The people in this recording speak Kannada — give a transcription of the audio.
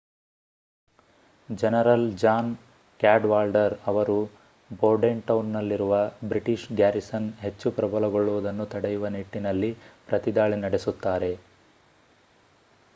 ಜನರಲ್ ಜಾನ್ ಕ್ಯಾಡ್‌ವಾಲ್ಡರ್ ಅವರು ಬೋರ್ಡೆಂಟೌನ್‌ನಲ್ಲಿರುವ ಬ್ರಿಟಿಷ್ ಗ್ಯಾರಿಸನ್ ಹೆಚ್ಚು ಪ್ರಬಲಗೊಳ್ಳುವುದನ್ನು ತಡೆಯುವ ನಿಟ್ಟಿನಲ್ಲಿ ಪ್ರತಿದಾಳಿ ನಡೆಸುತ್ತಾರೆ